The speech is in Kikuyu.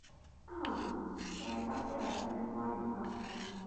Aah! Ngai akũrathime mwarĩ wakwa.